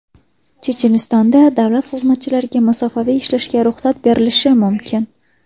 Chechenistonda davlat xizmatchilariga masofaviy ishlashga ruxsat berilishi mumkin.